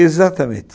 Exatamente.